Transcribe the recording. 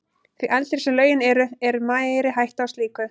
Því eldri sem lögin eru, er meiri hætta á slíku.